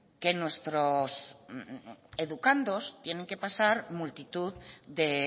que nuestros educandos tienen que pasar multitud de